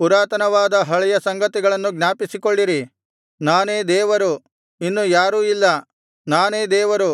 ಪುರಾತನವಾದ ಹಳೆಯ ಸಂಗತಿಗಳನ್ನು ಜ್ಞಾಪಿಸಿಕೊಳ್ಳಿರಿ ನಾನೇ ದೇವರು ಇನ್ನು ಯಾರೂ ಇಲ್ಲ ನಾನೇ ದೇವರು